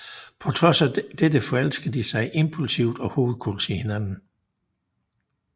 På trods af dette forelsker de sig impulsivt og hovedkulds i hinanden